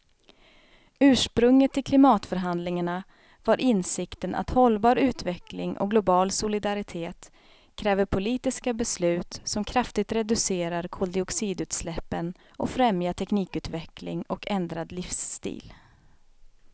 Ursprunget till klimatförhandlingarna var insikten att hållbar utveckling och global solidaritet kräver politiska beslut som kraftigt reducerar koldioxidutsläppen och främjar teknikutveckling och ändrad livsstil.